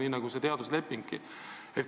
See puudutab ka teaduslepingut.